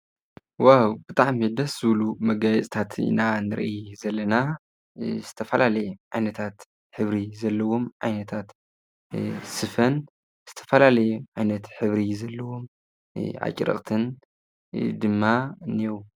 ዋው! ብጣዕሚ ደስ ዝብሉ መጋየፂታት ኢና ንርኢ ዘለና። ዝተፈላለየ ዓይነታት ሕብሪ ዘለዎም ዓይነታት ስፈን ዝተፈላለዩ ዓይነት ሕብሪ ዘለዎም ኣጭርቕትን ድማ እኔዉ።